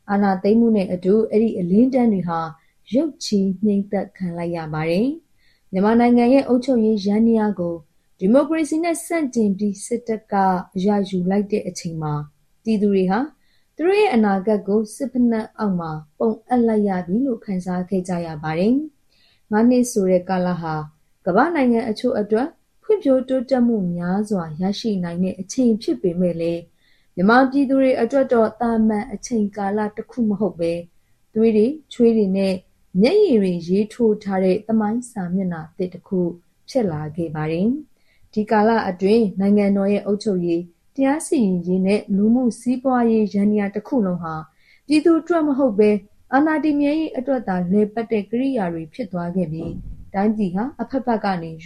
အာဏာသိမ်းမှု နှင့်အတူ အဲဒီအလင်းတန်းတွေဟာ ရုတ်ခြည်း ငြိမ်းသတ်ခံလိုက်ရပါတယ်။ မြန်မာနိုင်ငံရဲ့ အုပ်ချုပ်ရေးအာဏာကို ဒီမိုကရေစီနဲ့ဆန့်ကျင့်ပြီး စစ်တပ်က အရယူလိုက်တဲ့အချိန်မှာ ပြည်သူတွေဟာ သူတို့ရဲ့ အနာဂတ်ကို စစ်ဖိနပ်အောက်မှာ ပုံအပ်လိုက်ရသလို ခံစားခဲ့ကြရပါတယ်။ ငါးးနှစ်ဆိုတဲ့ ကာလဟာ ကမ္ဘာ့နိုင်ငံအချို့အတွက် ဖွံ့ဖြိုးတိုးတက်မှုများစွာ ရရှိနိုင်တဲ့ အချိန်ဖြစ်ပေမယ့်လည်း မြန်မာပြည်သူတွေအတွက်တော့ သာမန်အချိန်ကာလတစ်ခုမဟုတ်ဘဲ သွေး၊ ချွေးနှင့် မျက်ရည်တွေနဲ့ ရေးထိုးထားတဲ့ သမိုင်းစာမျက်နှာသစ်တစ်ခု ဖြစ်လာခဲ့ပါတယ်။ ဒီကာလအတွင်း နိုင်ငံတော်ရဲ့ အုပ်ချုပ်ရေး၊ တရားစီရင်ရေးနဲ့ လူမှုစီးပွားယန္တရားတစ်ခုလုံးဟာ ပြည်သူ့အတွက်မဟုတ်ဘဲ အာဏာတည်မြဲရေးအတွက်သာ လည်ပတ်တဲ့ ကိရိယာတွေ ဖြစ်သွားခဲ့ပြီး တိုင်းပြည်ဟာ အဖက်ဖက်ကနေ ယ